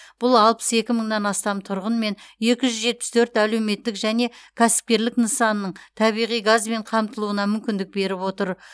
бұл алпыс екі мыңнан астам тұрғын мен екі жүз жетпіс төрт әлеуметтік және кәсіпкерлік нысанының табиғи газбен қамтылуына мүмкіндік беріп отыр